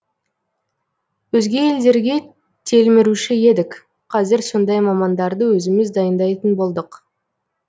өзге елдерге телміруші едік қазір сондай мамандарды өзіміз дайындайтын болдық